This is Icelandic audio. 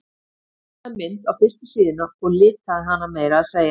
Hún teiknaði mynd á fyrstu síðuna og litaði hana meira að segja.